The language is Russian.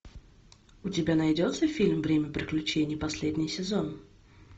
у тебя найдется фильм время приключений последний сезон